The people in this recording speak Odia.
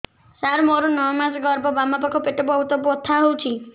ସାର ମୋର ନଅ ମାସ ଗର୍ଭ ବାମପାଖ ପେଟ ବହୁତ ବଥା ହଉଚି